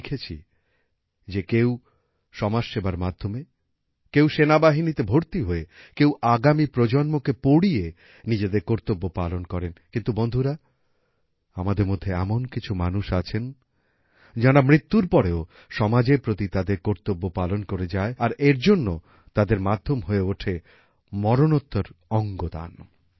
আমরা দেখেছি যে কেউ সমাজসেবার মাধ্যমে কেউ সেনাবাহিনীতে ভর্তি হয়ে কেউ আগামী প্রজন্মকে পড়িয়ে নিজেদের কর্তব্য পালন করেন কিন্তু বন্ধুরা আমাদের মধ্যে এমন কিছু মানুষ আছেন যারা মৃত্যুর পরেও সমাজের প্রতি তাদের কর্তব্য পালন করে যায় আর এর জন্য তাদের মাধ্যম হয়ে ওঠে মরণোত্তর অঙ্গদান